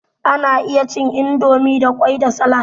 Ana iya cin indomie da kwai da salad.